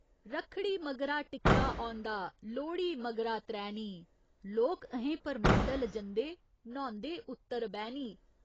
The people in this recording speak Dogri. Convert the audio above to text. रक्खड़ी मगरा टिक्का औंदा, लोह्ड़ी मगरा त्रैनी, लोक अहें परमंडल जंदे, न्हौंदे उत्तरबैह्‌नी।